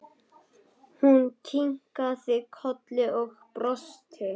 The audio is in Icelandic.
Hún kinkaði kolli og brosti.